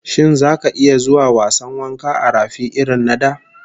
Shin zaka iya zuwa wasan wanka a rafi irrin na da?